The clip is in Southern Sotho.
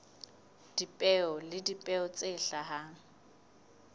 dipeo le dipeo tse hlahang